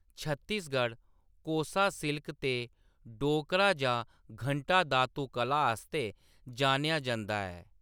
Chhattisgarh 'Kosa silk' ते 'ढोकरा जां घंटा धातु कला' आस्तै जानेआ जंदा ऐ।